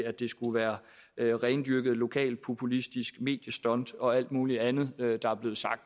at det skulle være et rendyrket lokalpopulistisk mediestunt og alt muligt andet der er blevet sagt